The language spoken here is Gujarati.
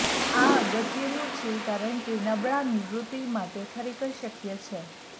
આ અગત્યનું છે કારણ કે નબળા નિવૃત્તિ માટે ખરેખર શક્ય છે